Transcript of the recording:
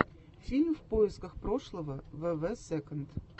фильм в поисках прошлого вв сэконд